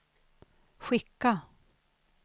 skicka